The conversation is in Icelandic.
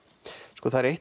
sko það er eitt